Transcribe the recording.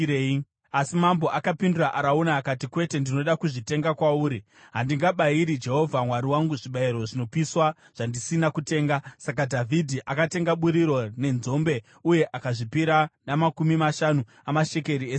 Asi mambo akapindura Arauna akati, “Kwete, ndinoda kuzvitenga kwauri. Handingabayiri Jehovha Mwari wangu zvibayiro zvinopiswa zvandisina kutenga.” Saka Dhavhidhi akatenga buriro nenzombe uye akazvipira namakumi mashanu amashekeri esirivha.